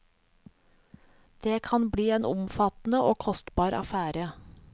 Det kan bli en omfattende og kostbar affære.